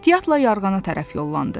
Ehtiyatla yarğana tərəf yollandı.